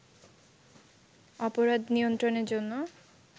অপরাধ নিয়ন্ত্রণের জন্য